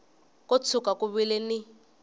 ko tshuka ku vile ni